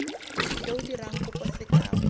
yo o dirang kopo sekao